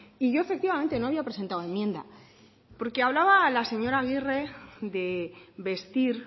y yo efectivamente no había presentado enmienda porque hablaba la señora agirre de vestir